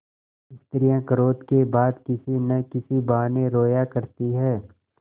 स्त्रियॉँ क्रोध के बाद किसी न किसी बहाने रोया करती हैं